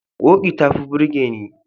Ƙoƙi ta fi burge ni.